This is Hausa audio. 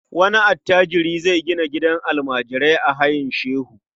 Wani attajiri zai gina gidan almajirai a Hayin Shehu.